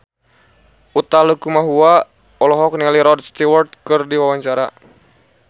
Utha Likumahua olohok ningali Rod Stewart keur diwawancara